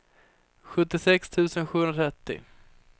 sjuttiosex tusen sjuhundratrettio